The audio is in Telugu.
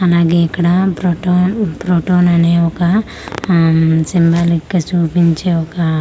అలాగే ఇక్కడా ప్రొటోన్ ప్రోటోన్ అనే ఒక అమ్ సింబాలిక్ గ చూపించె ఒక అయ్--